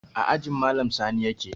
A ajin malam sani yake